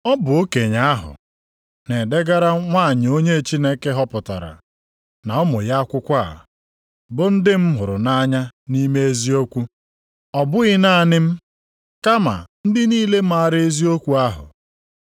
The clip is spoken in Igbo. Ọ bụ okenye ahụ, Na-edegara nwanyị ahụ onye Chineke họpụtara, na ụmụ ya akwụkwọ a, bụ ndị m hụrụ nʼanya nʼime eziokwu. Ọ bụghị naanị m kama ndị niile maara eziokwu ahụ.